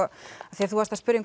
af því að þú varst að spyrja